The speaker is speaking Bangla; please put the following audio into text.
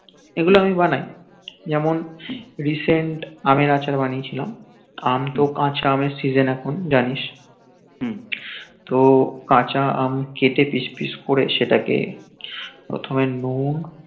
এগুল আমি বানাই যেমন recent আমি আমের আচার বানিয়েছিলাম আম তো কাচা আমএর season এখন জানিস তো কাচা আম কেতে পিস পিস করে সেটাকে প্রথমে নুন